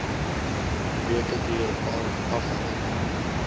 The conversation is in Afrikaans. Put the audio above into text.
weke duur afhangende